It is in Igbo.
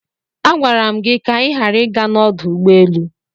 Agwara m gị ka ị ghara ịga n'ọdụ ụgbọelu!